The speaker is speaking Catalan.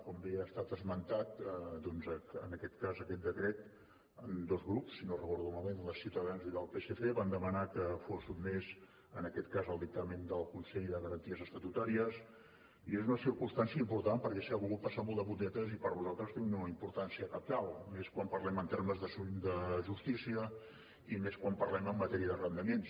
com bé ha estat esmentat doncs en aquest cas aquest decret dos grups si no ho recordo malament el de ciutadans i el del psc van demanar que fos sotmès en aquest cas al dictamen del consell de garanties estatutàries i és una circumstància important perquè s’hi ha volgut passar molt de puntetes i per nosaltres té una importància cabdal més quan parlem en termes de justícia i més quan parlem en matèria d’arrendaments